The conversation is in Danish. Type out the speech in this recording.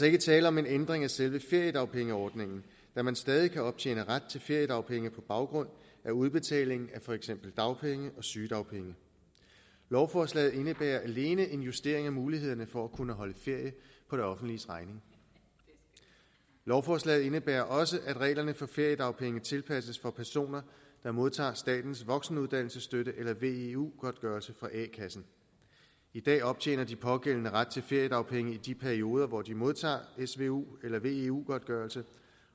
ikke tale om en ændring af selve feriedagpengeordningen da man stadig kan optjene ret til feriedagpenge på baggrund af udbetaling af for eksempel dagpenge og sygedagpenge lovforslaget indebærer alene en justering af mulighederne for at kunne holde ferie på det offentliges regning lovforslaget indebærer også at reglerne for feriedagpenge tilpasses for personer der modtager statens voksenuddannelsesstøtte eller veu godtgørelse fra a kassen i dag optjener de pågældende ret til feriedagpenge i de perioder hvor de modtager svu eller veu godtgørelse